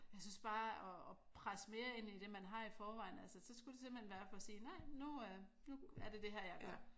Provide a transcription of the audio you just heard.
Jeg synes bare at presse mere ind i det man har i forvejen altså så skulle det simpelthen være for at sige nej nu er det nu er det det her jeg gør